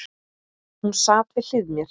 Hún sat við hlið mér.